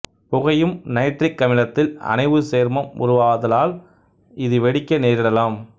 புகையும் நைட்ரிக் அமிலத்தில் அனைவுச் சேர்மம் உருவாதலால் இது வெடிக்க நேரிடலாம்